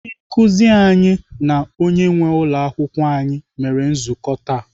Ndị nkụzi anyị na onye nwee ụlọakwụkwọ anyị mere nzukọ taa.